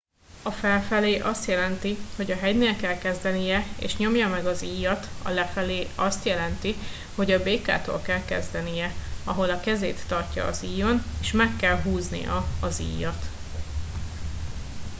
a felfelé azt jelenti hogy a hegynél kell kezdenie és nyomja meg az íjat a lefelé azt jelenti hogy a békától kell kezdenie ahol a kezét tartja az íjon és meg kell húznia az íjat